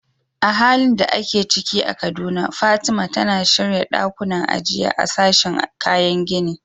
A halin da ake ciki a Kaduna, Fatima, tana shirya ɗakunan ajiya a sashin kayan gini.